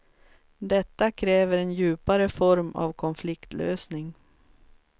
Detta kräver en djupare form av konfliktlösning.